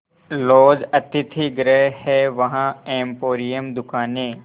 laws अतिथिगृह हैं वहाँ एम्पोरियम दुकानें